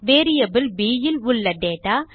variable b ல் உள்ள data